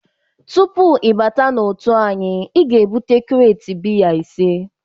Tupu ị bata n'otu anyị, ị ga-ebute krate biya ise!